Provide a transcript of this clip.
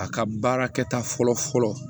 A ka baarakɛta fɔlɔ fɔlɔ